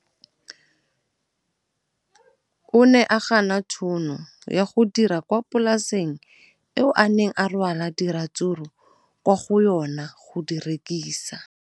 O ne a gana tšhono ya go dira kwa polaseng eo a neng rwala diratsuru kwa go yona go di rekisa.